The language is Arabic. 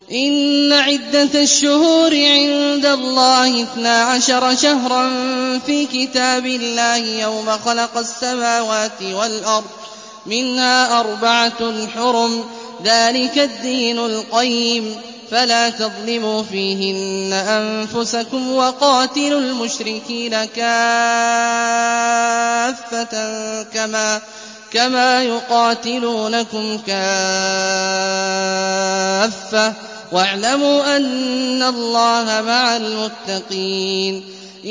إِنَّ عِدَّةَ الشُّهُورِ عِندَ اللَّهِ اثْنَا عَشَرَ شَهْرًا فِي كِتَابِ اللَّهِ يَوْمَ خَلَقَ السَّمَاوَاتِ وَالْأَرْضَ مِنْهَا أَرْبَعَةٌ حُرُمٌ ۚ ذَٰلِكَ الدِّينُ الْقَيِّمُ ۚ فَلَا تَظْلِمُوا فِيهِنَّ أَنفُسَكُمْ ۚ وَقَاتِلُوا الْمُشْرِكِينَ كَافَّةً كَمَا يُقَاتِلُونَكُمْ كَافَّةً ۚ وَاعْلَمُوا أَنَّ اللَّهَ مَعَ الْمُتَّقِينَ